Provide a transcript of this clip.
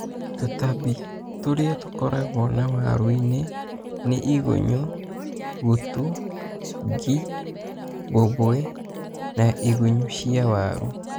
Tũtambi tũrĩa tũkoragwo na waru-inĩ nĩ igũnyo, gũtu, ngi, mbomboe na na igunyo cia waru.